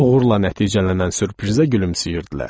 Uğurla nəticələnən sürprizə gülümsəyirdilər.